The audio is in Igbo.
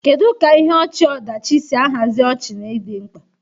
Kedu ka ihe ọchị-ọdachi si ahazi ọchị na ịdị mkpa?